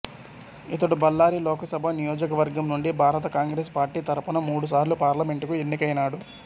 ఇతడు బళ్ళారి లోకసభ నియోజకవర్గం నుండి భారత కాంగ్రెస్ పార్టీ తరఫున మూడుసార్లు పార్లమెంటుకు ఎన్నికైనాడు